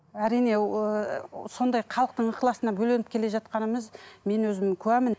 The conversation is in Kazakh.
әрине ыыы сондай халықтың ықыласына бөленіп келе жатқанымыз мен өзім куәмін